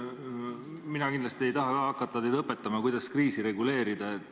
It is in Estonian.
Ma kindlasti ei taha hakata teid õpetama, kuidas kriisi reguleerida.